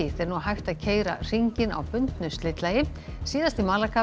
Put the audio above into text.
er nú hægt að keyra hringinn á bundnu slitlagi síðasti